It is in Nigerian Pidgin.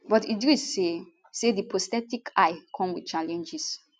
but idris say say di prosthetic eye come wit challenges